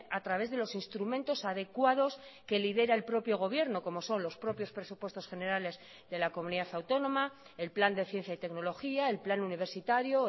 a través de los instrumentos adecuados que lidera el propio gobierno como son los propios presupuestos generales de la comunidad autónoma el plan de ciencia y tecnología el plan universitario